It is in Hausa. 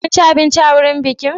Kun ci abinci a wurin bikin?